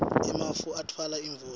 emafu atfwala imvula